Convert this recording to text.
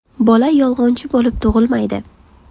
Bola yolg‘onchi bo‘lib tug‘ilmaydi.